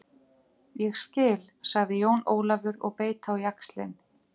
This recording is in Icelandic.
Þannig hefðu galdrar orðið til.